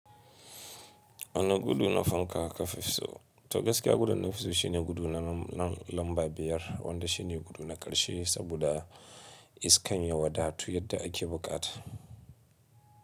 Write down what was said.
Ana gudu na fanka kafin fisso, to gaskiya gudun na fisso shine gudu na lamba biyar wanda shine gudu na ƙarshe saboda iskan ya wada tu yadda ake buƙata.